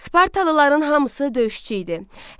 Spartalıların hamısı döyüşçü idi.